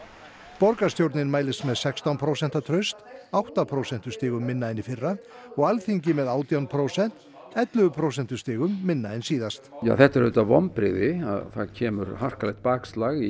borgarstjórnin mælist með sextán prósent traust átta prósentustigum minna en í fyrra og Alþingi með átján prósent ellefu prósentustigum minna en síðast þetta eru auðvitað vonbrigði það kemur harkalegt bakslag í